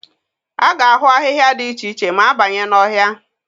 A ga-ahụ ahịhịa dị iche iche ma a banye n'ọhịa.